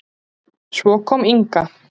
Svo kom Inga.